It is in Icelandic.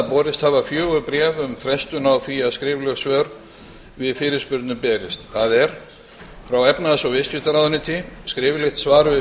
borist hafa fjögur bréf um frestun á því að skrifleg svör við fyrirspurnum berist frá efnahags og viðskiptaráðuneyti skriflegt svar við